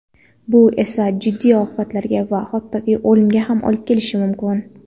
Bu esa jiddiy oqibatlarga va hattoki o‘limga ham olib kelishi mumkin.